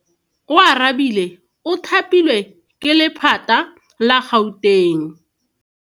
Oarabile o thapilwe ke lephata la Gauteng.